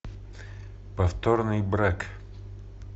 повторный брак